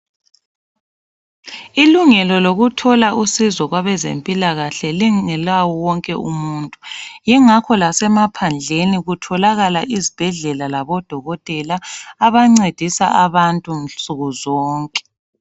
Ilungelo lokuthola usizo kwabezempilakahle lingelawo wonke umuntu yingakho lasemaphandleni kutholakala izibhedlela labodokotela abancedisa abantu nsuku zonke.